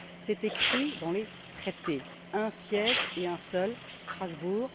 C'est écrit dans les traités. Un siège et un seul Strasbourg!